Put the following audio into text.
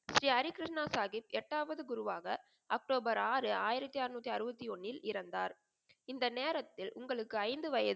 ஸ்ரீ ஹரி கிருஷ்ணா சாஹிப் எட்டாவது குருவாக அக்டோபர் ஆறு ஆயிரத்தி அறநூற்றி அறுபத்தி ஒன்னில் இறந்தார். இந்த நேரத்தில் உங்களுக்கு ஐந்து வயது